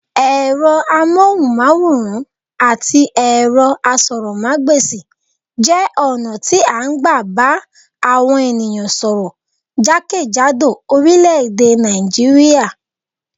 Ẹ̀rọ amóhùnmáwòràn àti ẹ̀rọ asọ́rọ̀ mágbèsi jẹ́ ọ̀nà tí a n gbà bà àwọn ènìyàn sọ́rọ́ jákèjádò oríléèdè Nàìjíríà